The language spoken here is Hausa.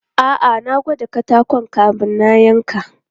A'a, na gwada katakon kamin na yanka.